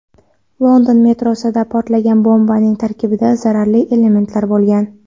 London metrosida portlagan bombaning tarkibida zararli elementlar bo‘lgan.